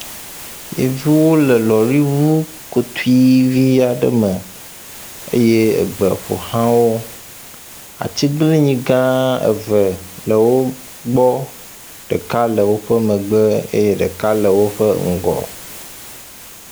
Yevuwo le lɔ̃ri ŋu kopui vi aɖe me eye egbe ƒo xla wo. Atiglinyi gã eve le wo gbɔ, ɖeka le woƒe megbe eye ɖeka le woƒe ŋgɔ.